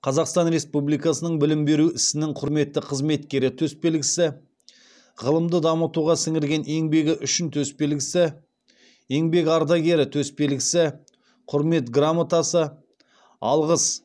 қазақстан республикасының білім беру ісінің құрметті қызметкері төсбелгісі ғылымды дамытуға сіңірген еңбегі үшін төсбелгісі еңбек ардагері төсбелгісі құрмет грамотасы алғыс